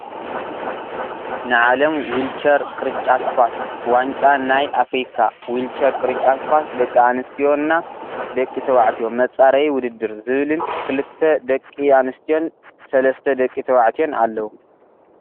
ንዓለም ዊልቸር ቅርንጫት ኳስ ዋንጫ ናይ ኣፍርካ ዊልቸር ቅርጫት ኳስ ደቂ ኣንስዮና ደቂ ተባዕትዮ መፃረይ ውድድር ዝብልን ክልተ ሰቂ ኣንስትዮን ሰለስተ ደቂ ተባዕትዮን ኣለው።